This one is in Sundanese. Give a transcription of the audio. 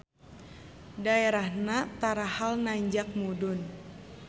Daerahna tarahal nanjak mudun.